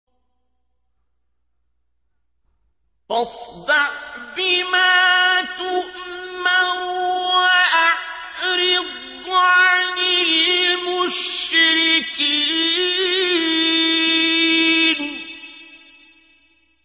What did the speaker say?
فَاصْدَعْ بِمَا تُؤْمَرُ وَأَعْرِضْ عَنِ الْمُشْرِكِينَ